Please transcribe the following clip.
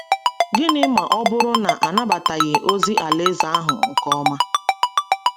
Gịnị ma ọ bụrụ na a nabataghị ozi Alaeze ahụ nke ọma?